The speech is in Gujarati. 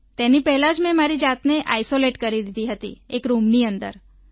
તેની પહેલાં જ મેં મારી જાતને આઈસોલેટ કરી લીધી હતી એક રૂમની અંદર